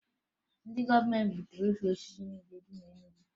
Ndị gọọmentị gbuturu ukwu osisi niile dị na Enugu